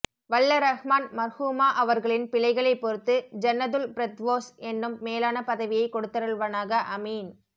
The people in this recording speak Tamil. வல்ல ரஹ்மான் மர்ஹூமா அவர்களின் பிழைகளை பொருத்து ஜன்னதுல்பிர்தொவ்ஸ் என்னும் மேலான பதவியை கொடுதருல்வனக அமீன்